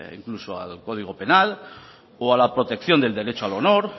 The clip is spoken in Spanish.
incluso al código penal o a la protección del derecho al honor